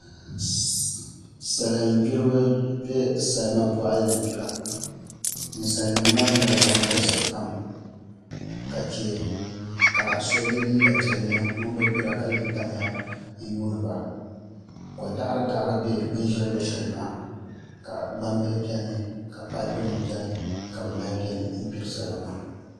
Salin gbiribi bɛ salima boɣali ni gbira ninsal nim maa nyɛla ban galisi pam ka chɛ ka so yɛ liiga piɛlli ŋun bi gbira ka lee tamya n yuundiba ko daɣari daɣari ʒɛ bin ʒɛ luɣu shɛli maa ka gbambihi biɛni ka paipu nim biɛni ka bi mali biɛ ni n gbiri salima maa